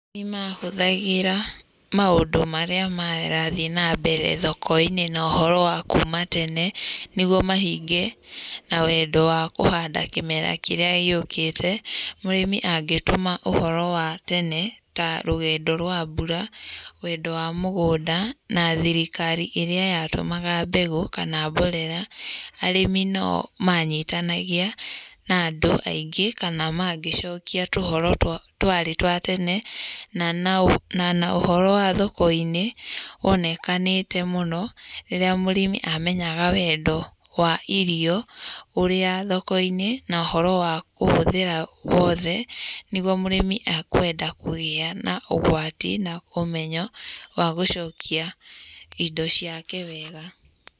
Nĩ mahũthagĩra maũndũ marĩa marathiĩ na mbere thoko-inĩ na ũhoro wa kuma tene, nĩguo mahinge na wendo wa kũhanda kĩmera kĩrĩa gĩũkĩte. Mũrĩmi angĩtũma ũhoro wa tene ta rũgendo rwa mbura, wendo wa mũgũnda, na thirikari ĩrĩa yatũmaga mbegu kana mborera, arĩmi no manyitanagia na andũ aingĩ kana mangĩcokia tũhoro twarĩ twa tene na ũhoro wa thoko-inĩ wonekanĩte mũno rĩrĩa mũrĩmi amenyaga wendo wa irio ũrĩa thoko-inĩ na ũhoro wa kũhũthĩra wothe nĩguo mũrĩmi akwenda kũgĩa na ũgwati na ũmenyo wa gũcokia indo ciake wega.